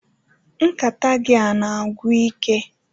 Nkata gị a na-agwụ ike